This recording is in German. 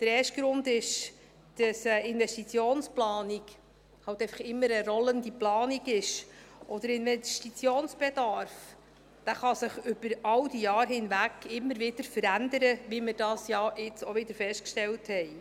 Der erste Grund ist, dass eine Investitionsplanung eben immer eine rollende Planung ist, und der Investitionsbedarf kann sich über alle diese Jahre hinweg immer wieder verändern, wie wir das ja jetzt auch wieder festgestellt haben.